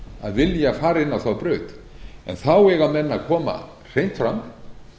að vilja fara inn á þá braut en þá eiga menn að koma hreint fram